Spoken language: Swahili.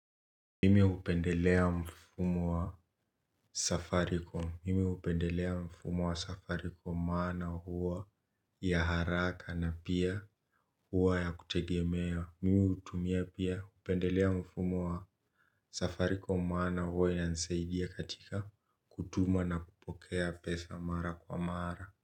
Mimi hupendelea mfumo wa safaricom. Mimi hupendelea mfumo wa safaricom maana huwa ya haraka na pia huwa ya kutegemewa. Mimi pia hupendelea mfumo ya Safaricom maana huwa inanisaidia katika kutuma na kupokea pesa mara kwa mara.